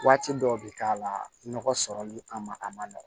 Waati dɔw bi k'a la nɔgɔ sɔrɔli kama a ma nɔgɔn